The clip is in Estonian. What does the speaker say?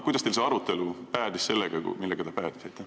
Kuidas teil see arutelu päädis sellega, millega ta päädis?